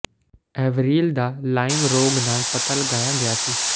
ਐਵਰੀਲ ਦਾ ਲਾਈਮ ਰੋਗ ਨਾਲ ਪਤਾ ਲਗਾਇਆ ਗਿਆ ਸੀ